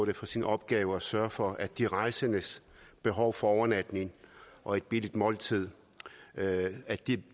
det for sin opgave at sørge for at de rejsendes behov for overnatning og et billigt måltid